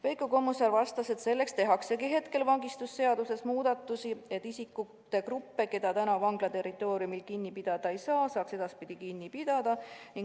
Veiko Kommusaar vastas, et selleks tehaksegi vangistusseaduses muudatusi, et isikute gruppe, keda praegu vangla territooriumil kinni pidada ei saa, saaks edaspidi kinni pidada.